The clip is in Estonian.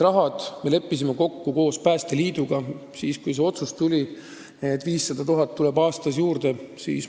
Rahaeraldise me leppisime kokku koos Päästeliiduga, kui tuli otsus, et 500 000 eurot tuleb aastas juurde.